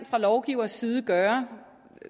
fra lovgiveres side gøre